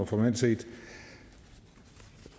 formelt set